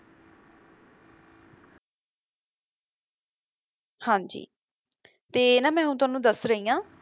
ਹਾਂ ਜੀ ਤੇ ਨਾ ਮੈਂ ਹੁਣ ਤੁਹਾਨੂੰ ਦੱਸ ਰਹੀ ਆ,